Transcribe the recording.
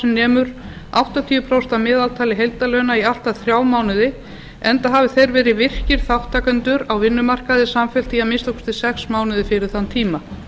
nemur áttatíu prósent að meðaltali heildarlauna í allt að þrjá mánuði enda hafi þeir verið virkir þátttakendur á vinnumarkaði samfellt í að minnsta kosti sex mánuði fyrir þann tíma